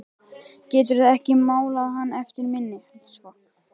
Geturðu ekki málað hann eftir minni?